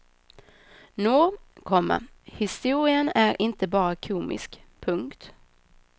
Nå, komma historien är inte bara komisk. punkt